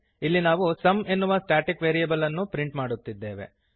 ಇಲ್ಲಿ ನಾವು ಸುಮ್ ಎನ್ನುವ ಸ್ಟಾಟಿಕ್ ವೇರಿಯಬಲ್ ಅನ್ನು ಪ್ರಿಂಟ್ ಮಾಡುತ್ತೇವೆ